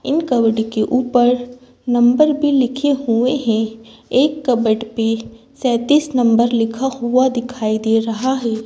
इन cupboard के ऊपर number भी लिखे हुए हैं एक कबड पे सेतीस नंबर लिखा हुआ दिखाई दे रहा है।